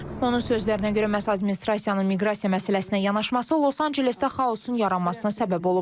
Onun sözlərinə görə məhz administrasiyanın miqrasiya məsələsinə yanaşması Los Ancelesdə xaosun yaranmasına səbəb olub.